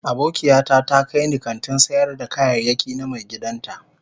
Abokiata ta kai ni kantin sayar da kayayyaki na maigidan ta